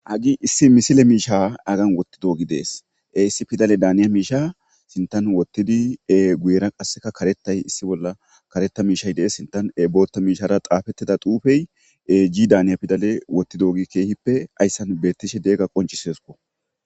Agi issi misile miisha agan wotti doogi dees e issi fidale daaniya miisha sintan wottidi e guuyera qasseka karettay issi bolla kareta miishay dees sintan e bootta miishara xaafettida duufey e i daaniya pidale wotti doogi keehippe ayssan beettishe deegga qoncisesukko.